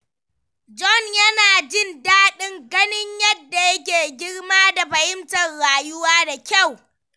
John yana jin daɗin ganin yadda yake girma da fahimtar rayuwa da kyau.